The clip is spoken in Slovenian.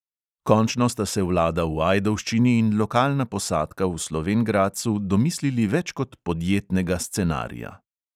Končno sta se vlada v ajdovščini in lokalna posadka v slovenj gradcu domislili več kot podjetnega scenarija.